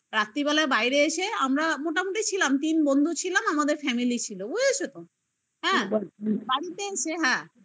রাত্রিবেলা বাইরে এসে আমরা মোটামুটি ছিলাম তিন বন্ধু ছিলাম আমাদের family ছিল বুঝেছো তো হ্যাঁ বাড়িতে এসে